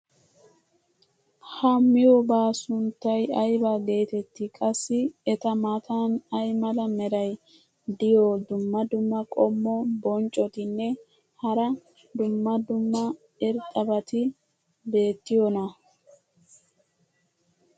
ha miyoobaa sunttay ayba geetettii? qassi eta matan ay mala meray diyo dumma dumma qommo bonccotinne hara dumma dumma irxxabati beetiyoonaa?